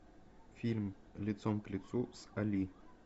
фильм лицом к лицу с али